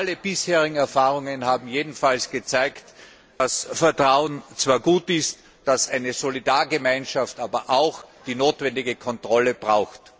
Alle bisherigen Erfahrungen haben jedenfalls gezeigt, dass Vertrauen zwar gut ist, dass eine Solidargemeinschaft aber auch die notwendige Kontrolle braucht.